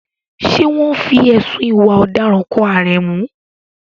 Ṣé wọ́n fi ẹ̀sùn ìwà ọ̀daràn kan Aremu?